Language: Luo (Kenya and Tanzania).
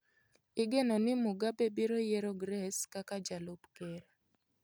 Igeno ni Mugabe biro yiero Grace kaka jalup ker.